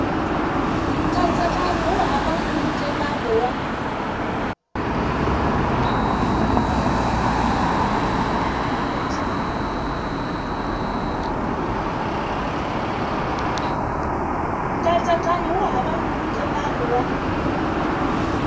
nkatsakanyo wu hava nkhulukelano wa